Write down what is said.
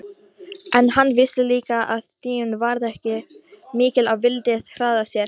En hann vissi líka að tíminn var ekki mikill og vildi því hraða sér.